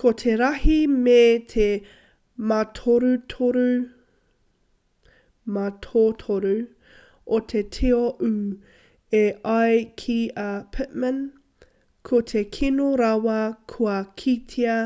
ko te rahi me te mātotoru o te tio ū e ai ki a pittman ko te kino rawa kua kitea